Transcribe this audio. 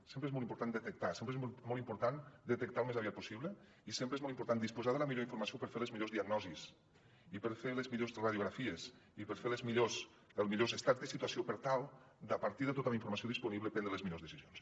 sempre és molt important detectar sempre és molt important detectar al més aviat possible i sempre és molt important disposar de la millor informació per fer les millors diagnosis i per fer les millors radiografies i per fer els millors estats de situació per tal de a partir de tota la informació disponible prendre les millors decisions